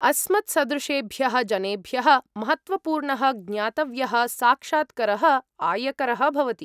अस्मत्सदृशेभ्यः जनेभ्यः, महत्त्वपूर्णः ज्ञातव्यः साक्षात्करः, आयकरः भवति।